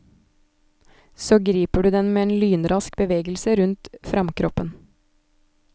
Så griper du den med en lynrask bevegelse rundt framkroppen.